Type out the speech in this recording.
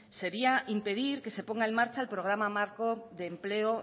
sería impedir que se ponga en marcha el programa marco de empleo